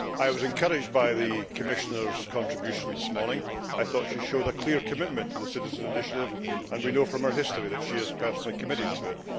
I was encouraged by the Commissioner's contribution this morning. It thought she showed a clear commitment to the Citizens' Initiative, and we know from our history that she is personally committed to it.